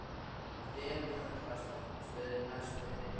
Belinda, hvaða stoppistöð er næst mér?